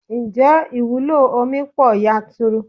Ǹjẹ́ ìwúlò omi pọ yanturu?